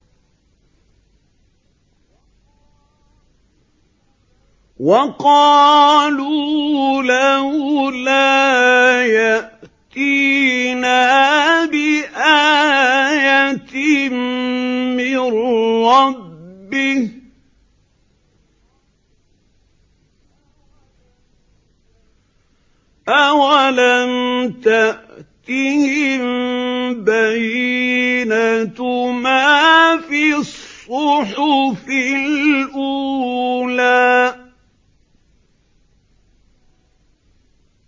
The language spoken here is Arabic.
وَقَالُوا لَوْلَا يَأْتِينَا بِآيَةٍ مِّن رَّبِّهِ ۚ أَوَلَمْ تَأْتِهِم بَيِّنَةُ مَا فِي الصُّحُفِ الْأُولَىٰ